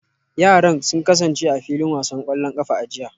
Yaran sun kasance a filin wasan kwallon kafa a jiya